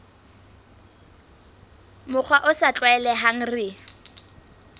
mokgwa o sa tlwaelehang re